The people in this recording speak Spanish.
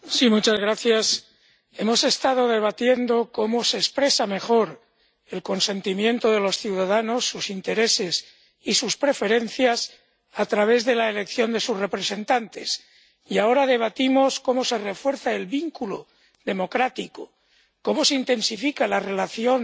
Señora presidenta, hemos estado debatiendo cómo se expresan mejor el consentimiento de los ciudadanos, sus intereses y sus preferencias a través de la elección de sus representantes y ahora debatimos cómo se refuerza el vínculo democrático, cómo se intensifica la relación